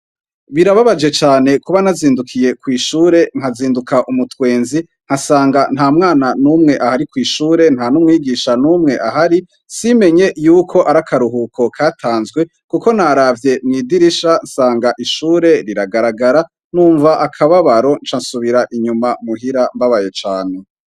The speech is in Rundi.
Birababaje cane kuba nazindukiye kw'ishure nkazinduka umutwenzi nkasanga nta mwana n'umwe ahari kw'ishure nta n'umwigisha n'umwe ahari simenye yuko ari akaruhuko katanzwe, kuko naravye mwidirisha sanga ishure riragaragara numva akababaro ncansubira inyuma muhira mbabaye cane.